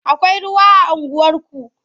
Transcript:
Akwai ruwa a unguwarku?